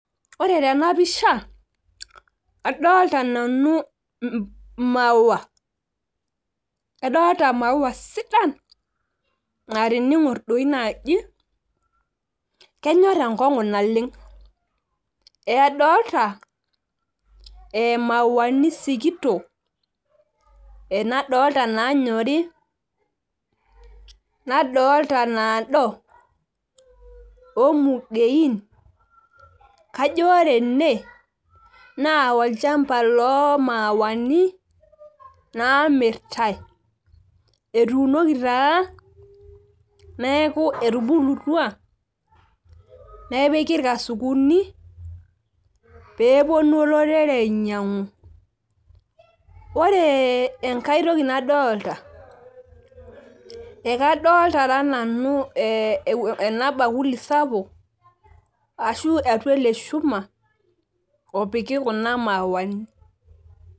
ore tena pisha adolta nanu imauwua adoolta imuwua sidan naa tining'or dii naaji kenyor enkong'u naleng' adoolta imauwuani sikitok na dolta ina nyori naa doltneeku etubulutua a inaado ormung'iein, kajo ore ene naa olchamba loo imauwuani naa mirtae etuunoki taa nepiki ilkasukuni pee epuonu olo rere anyiang'u, ore enkae toki nadoolta ekadoolta nanu ena bakuli sapuk, ashu atua ele shuma opiki kuna mauwuani.